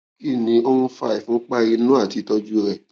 kí ni ó ń fa ìfunpá inú àti ìtọjú rẹ